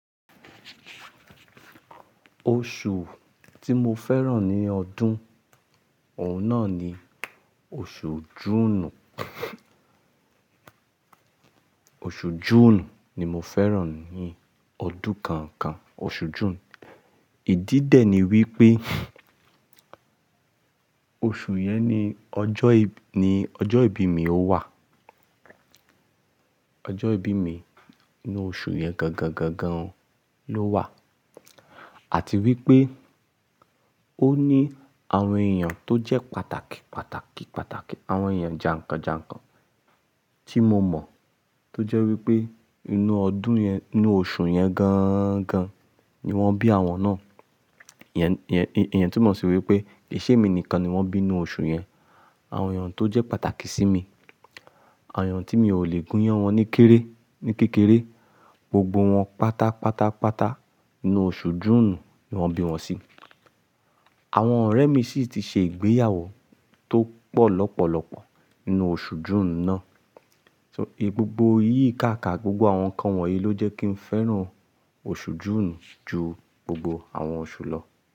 Oṣù tí mo fẹ́ràn ní ọdún, òun náà ni oṣù Júùnù. Oṣù Júùnù ni mo fẹ́ràn ní ọdún kan kan, oṣù June. Ìdí dẹ̀ ni wípé oṣù yẹn ni ọjọ́ ìbí mi ó wà. Ọjọ́ ìbí mi inú oṣù yẹn gangan gangan ló wà. Àti wípé ó ní àwọn èèyàn tó jẹ́ pàtàkì, pàtàkì, pàtàkì. Àwọn èèyàn jànkàn jànkàn tí mo mọ̀ tó jẹ́ wípé inú ọdún yẹn, inú oṣù yẹn gangan ni wọ́n bí àwọn náà. Ìyẹn tumo sí wípé kii ṣẹ́ emi nìkan ni wọ́n bí ninú oṣù yẹn. Àwọn èèyàn tó jẹ́ pàtàkì sí mi, àwọn èèyàn tí mi ò lè gúnyán wọn ní kéré, ní kékeré gbogbo wọn pátá pátá pátá inú oṣù Júùnù ni wọ́n bí wọn sí. Àwọn ọ̀rẹ́ mi sì ti ṣe ìgbéyàwó tó pọ̀ lọ́pọ̀lọ́pọ̀ inú oṣù Júùnù náà. So, gbogbo iyí káàkà, gbogbo àwọn nǹkan wọ̀nyí ló jẹ́ kí n fẹ́ràn oṣù Júùnù ju gbogbo àwọn oṣù lọ.